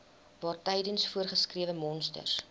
waartydens voorgeskrewe monsters